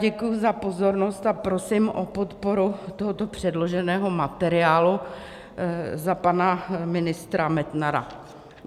Děkuji za pozornost a prosím o podporu tohoto předloženého materiálu za pana ministra Metnara.